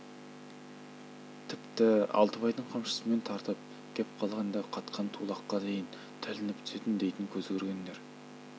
тіпті алтыбайдың қамшысымен тартып кеп қалғанда қатқан тулаққа дейін тілініп түсетін дейтін көз көргендер